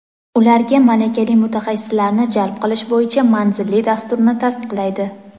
ularga malakali mutaxassislarni jalb qilish bo‘yicha manzilli dasturni tasdiqlaydi.